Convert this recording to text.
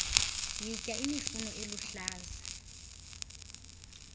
yitya imifuno eluhlaza